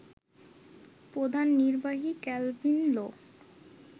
প্রধান নির্বাহী কেলভিন লো